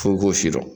F'i k'o si dɔn